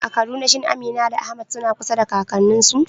A Kaduna shin Amina da Ahmad suna kusa da kakanninsu?